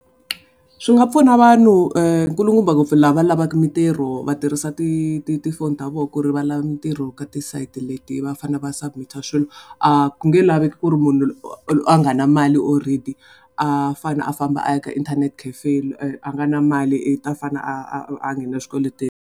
Swi nga pfuna vanhu nkulukumba ngopfu lava lavaku mintirho va tirhisa ti ti tifoni ta voho ku ri va lava mintirho ka ti site leti va fanele va submit-a swilo. A ku nge laveki ku ri munhu a nga na mali already a fanele a famba a ya ka internet cafe a nga na mali i ta fanele a a a nghena swikweletini.